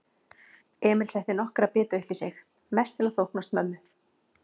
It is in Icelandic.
Emil setti nokkra bita uppí sig, mest til að þóknast mömmu.